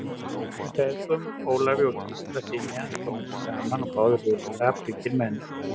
Þeim feðgum, Ólafi og Gísla syni hans, kom ekki saman, báðir voru skapríkir menn.